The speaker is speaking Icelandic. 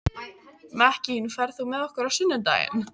Mekkín, ferð þú með okkur á sunnudaginn?